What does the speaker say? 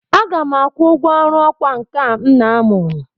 Aga m akwụ ụgwọ ọrụ ọkwá nkà m na-amụ.